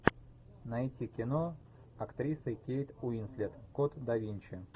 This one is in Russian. найти кино с актрисой кейт уинслет код да винчи